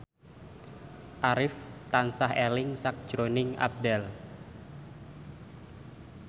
Arif tansah eling sakjroning Abdel